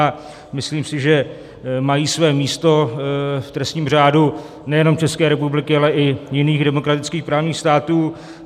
A myslím si, že mají své místo v trestním řádu nejenom České republiky, ale i jiných demokratických právních států.